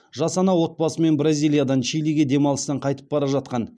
жас ана отбасымен бразилиядан чилиге демалыстан қайтып бара жатқан